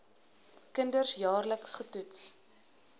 kinders jaarliks getoets